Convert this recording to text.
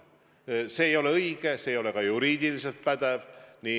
See ei ole õige, see ei ole ka juriidiliselt pädev.